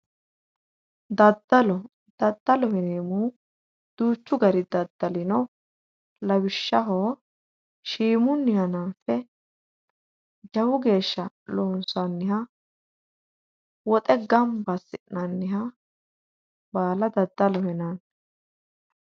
Daddallo, daddalloho yineemmohu duuchu gari daddalli no, lawishshaho shiimunni hananfe jawu geeshsha loonsanniha woxe gamba assi'nanniha baala daddaloho yinanni.